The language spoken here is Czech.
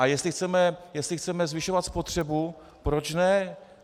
A jestli chceme zvyšovat spotřebu, proč ne?